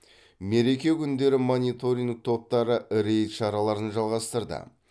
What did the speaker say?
мереке күндері мониторин топтары рейд шараларын жалғастырды